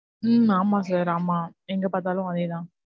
உம் ஆமா sir ஆமா. எங்கபாத்தாலும் அதே தான்.